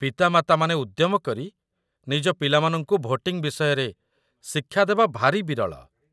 ପିତାମାତାମାନେ ଉଦ୍ୟମ କରି ନିଜ ପିଲାମାନଙ୍କୁ ଭୋଟିଂ ବିଷୟରେ ଶିକ୍ଷା ଦେବା ଭାରି ବିରଳ